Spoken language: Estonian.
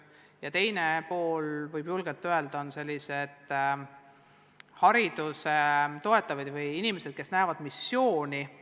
Ja julgelt võib öelda, et on ka selliseid haridust toetavaid inimesi, kes näevad missiooni.